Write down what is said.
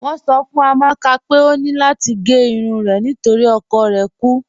Wọn sọ̀ fún Amàkà pé ọ ní lati gé irun rẹ̀ nítorí ọkọ̀ rẹ̀ kú